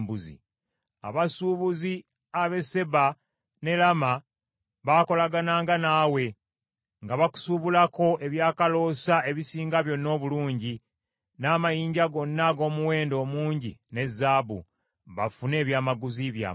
“ ‘Abasuubuzi ab’e Seeba ne Laama baakolagananga naawe, nga bakusuubulako ebyakaloosa ebisinga byonna obulungi, n’amayinja gonna ag’omuwendo omungi ne zaabu, bafune ebyamaguzi byammwe.